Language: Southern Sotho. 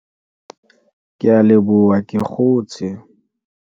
ke a leboha ke kgotse